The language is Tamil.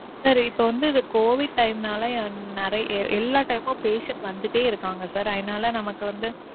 Sir இப்போ வந்து இது covid time நாலே நிறைய எல்லாம் time மும் patients வந்துட்டே இருக்காங்க sir. அதனால நமக்கு வந்து.